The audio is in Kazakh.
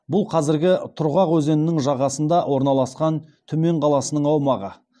бұл қазіргі тұрғақ өзенінің жағасына орналасқан түмен қаласының аумағы